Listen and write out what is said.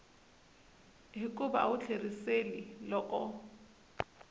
hikuva a wu tlheriseli loko